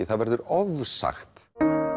það verður ofsagt